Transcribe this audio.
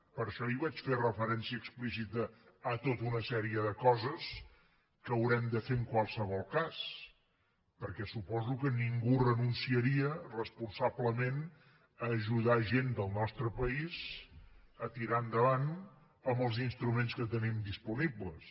per això ahir vaig fer referència explícita a tota una sèrie de coses que haurem de fer en qualsevol cas perquè suposo que ningú renunciaria responsablement a ajudar gent del nostre país a tirar endavant amb els instruments que tenim disponibles